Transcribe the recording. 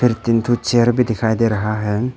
दो तीन ठो चेयर भी दिखाई दे रहा है।